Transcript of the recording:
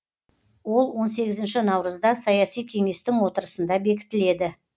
ол он сегізінші наурызда саяси кеңестің отырысында бекітіледі